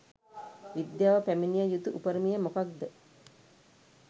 විද්‍යාව පැමිණිය යුතු උපරිමය මොදකද්ද